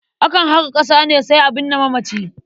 Akan haƙa ƙasa ne sai a binne mamaci.